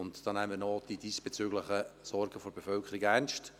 Wir nehmen damit auch die diesbezüglichen Sorgen der Bevölkerung ernst.